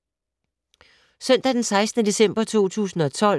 Søndag d. 16. december 2012